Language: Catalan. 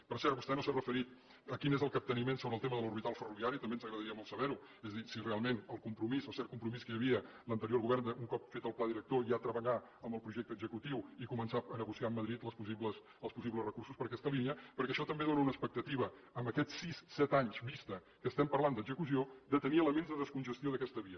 per cert vostè no s’ha referit a quin és el capteniment sobre el tema de l’orbital ferroviària també ens agradaria molt saber ho és a dir si realment el compromís el cert compromís que hi havia a l’anterior govern de un cop fet el pla director ja treballar amb el projecte executiu i començar a negociar amb madrid els possibles recursos per a aquesta línia perquè això també dóna una expectativa en aquests sis set anys vista que estem parlant d’execució de tenir elements de descongestió d’aquesta via